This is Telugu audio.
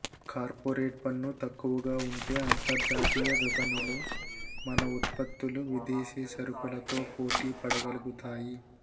కార్పొరేట్ పన్ను తక్కువగా ఉంటే అంతర్జాతీయ విపణిలో మన ఉత్పత్తులు విదేశీ సరకులతో పోటీ పడగలుగుతాయి